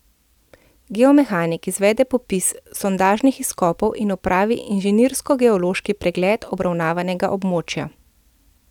Geomehanik izvede popis sondažnih izkopov in opravi inženirskogeološki pregled obravnavanega območja.